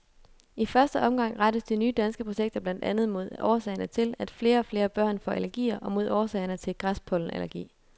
I første omgang rettes de nye danske projekter blandt andet mod årsagerne til, at flere og flere børn får allergier og mod årsagerne til græspollenallergi.